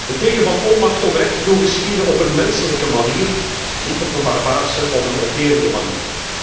Een teken van onmacht om recht te doen geschieden op een menselijke manier en niet op een barbaarse of een onterende manier.